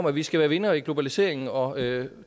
at vi skal være vindere i globaliseringen og